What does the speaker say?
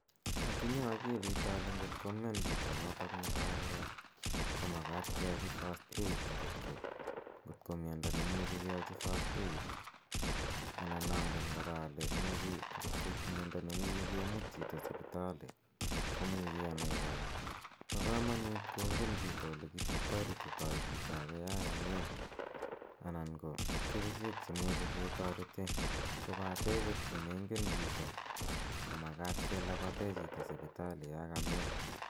Atinye akilit ale ngot ko mian chito notok netai korok ko makat keyachi first aid ngot ko miando ne imuchi keyachi first aid anan angen kora ale ngot ko mia da ne imuchi kemut chito sipitali ko muchi anai kora. Pa kamanut kongen chito ole kitaretitai chito age ya kamian anan ko kerichek che imuchi ketarete kopate ngot ko mengen chito ko pate ngot ko mengen chito ko makata kelapate chito sipitali ya kamian.